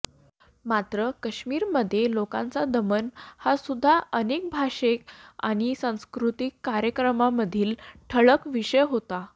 मात्र काश्मीरमधील लोकांचे दमन हासुद्धा अनेक भाषणे आणि सांस्कृतिक कार्यक्रमांमधील ठळक विषय होता